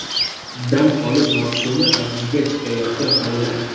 Dam olish mavsumi avjiga chiqayotgan palla.